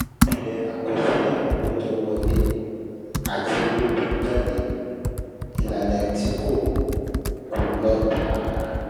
Ìpìlẹ̀ àkọsílẹ̀ owó tó ń wọlé àti owó tó ń jáde ìlànà tí kò kò lọ tààrà.